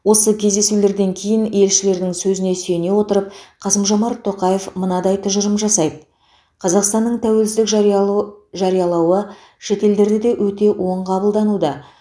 осы кездесулерден кейін елшілердің сөзіне сүйене отырып қасым жомарт тоқаев мынадай тұжырым жасайды қазақстанның тәуелсіздік жариялу жариялауы шетелдерде де өте оң қабылдануда